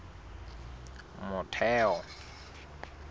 motheo